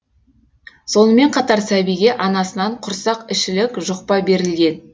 сонымен қатар сәбиге анасынан құрсақішілік жұқпа берілген